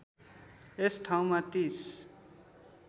यस ठाउँमा ३०